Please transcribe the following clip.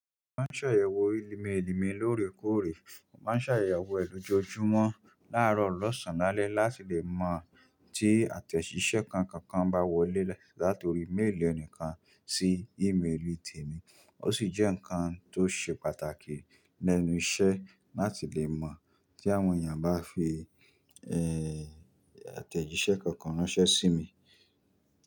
Mo máa ṣàyẹ̀wò limìlimi lóòrèkóòrè, mo máa ṣàyẹ̀wò èlò jọjú mo láàárọ̀ ọlọ́sàn-án lálẹ́ láti lè mọ̀ tí àtẹ̀jíṣẹ́ kankan bá wọlé látori mail ẹnìkan sí email temi, ó sì jẹ́ nǹkan tó ṣe pàtàkì lẹ́nu iṣẹ́ láti lè mọ̀ tí àwọn èèyàn bá fi, ẹ, àtẹ̀jíṣẹ́ kankan ránṣẹ́ sí mi.